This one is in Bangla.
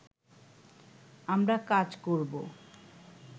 আমরা কাজ করব